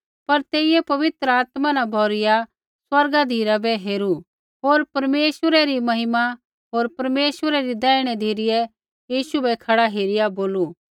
पर तेइयै पवित्र आत्मा न भौरूइया स्वर्गा धिराबै हेरू होर परमेश्वरै री महिमा होर परमेश्वरै री दैहिणी धिरै यीशु बै खड़ै हेरिआ बोलू